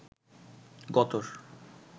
গতর